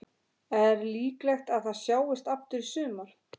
Er líklegt að það sjáist aftur í sumar?